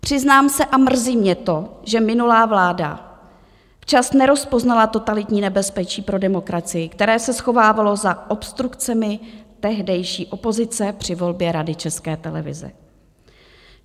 Přiznám se, a mrzí mě to, že minulá vláda včas nerozpoznala totalitní nebezpečí pro demokracii, které se schovávalo za obstrukcemi tehdejší opozice při volbě Rady České televize.